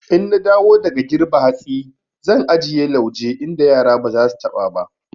In na dawo daga girbe hatsi zan ajiye lauje inda yara ba za su taɓa ba.